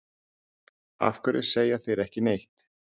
Af hverju segja þeir ekki neitt?